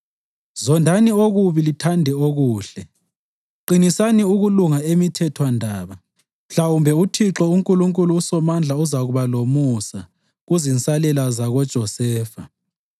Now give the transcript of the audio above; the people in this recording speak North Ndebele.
Zondani okubi lithande okuhle; qinisani ukulunga emithethwandaba. Mhlawumbe uThixo uNkulunkulu uSomandla uzakuba lomusa kuzinsalela zakoJosefa.